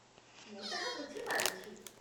ମୁଁ ତାହା ବୁଝି ପାରୁଛି।